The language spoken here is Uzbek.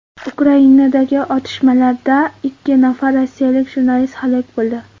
Ukrainadagi otishmalarda ikki nafar rossiyalik jurnalist halok bo‘ldi.